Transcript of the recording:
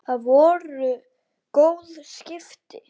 Það voru góð skipti.